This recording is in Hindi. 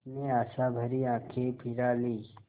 उसने आशाभरी आँखें फिरा लीं